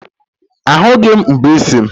Ahughị m mbọ isi m.